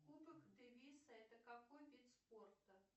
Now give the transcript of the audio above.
кубок дэвиса это какой вид спорта